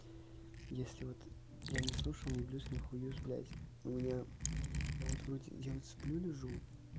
если вот я не слышул ни блюз нихуюз блять у меня я вот вроде я вот сплю лежу